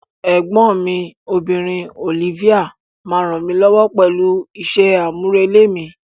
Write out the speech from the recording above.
Ẹ̀gbọ́n mi obìnrin, Olivia, máa ń ràn mí lọ́wọ́ pẹ̀lú iṣẹ́ àmúrelé mi.